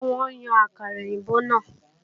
Rárá, wọn ò yàn àkàrà èbó náà